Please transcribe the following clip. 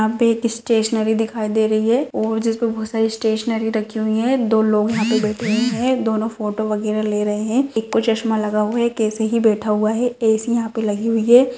यहाँ पे एक स्टेशनरी दिखाई दे रही है और जिसमे बहुत सारी स्टेशनरी रखी हुई है दो लोग यहाँ पर बैठे हुए है दोनों फोटो वैगरह ले रहे है एक को चस्मा लगा हुआ है एक ऐसे ही बैठा हुआ है ऐ सी यहाँ पे लगी हुई है।